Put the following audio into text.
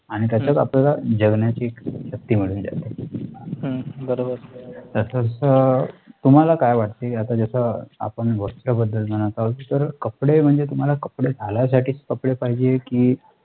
आणि त्याचाच आपल्याला जगण्या ची शक्ती मिळून जाते तसं तुम्हाला काय वाटते आता जसं आपण वस्र बद्दल म्हणत आहोत तर कपडे म्हणजे तुम्हाला कपडे घालायसाठी कपडे पाहिजे की